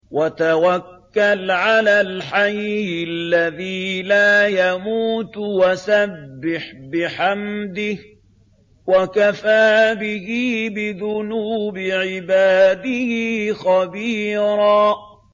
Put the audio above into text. وَتَوَكَّلْ عَلَى الْحَيِّ الَّذِي لَا يَمُوتُ وَسَبِّحْ بِحَمْدِهِ ۚ وَكَفَىٰ بِهِ بِذُنُوبِ عِبَادِهِ خَبِيرًا